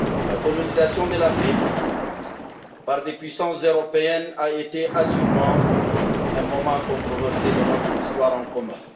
La colonisation de l'Afrique par des puissances européennes a été, assurément, un moment controversé de notre histoire commune.